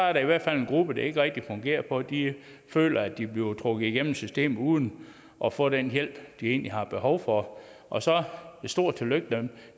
er der i hvert fald en gruppe det ikke rigtig fungerer for for de føler at de bliver trukket igennem systemet uden at få den hjælp de egentlig har behov for og så et stort tillykke